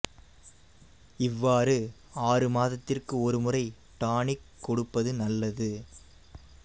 இவ்வாறு ஆறு மாதத்திற்கு ஒரு முறை டானிக் கொடுப்பது நல்லது